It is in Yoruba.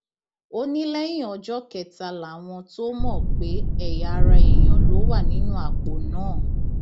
ó ní lẹyìn ọjọ kẹta làwọn tóo mọ pé ẹyà ara èèyàn ló wà nínú àpò náà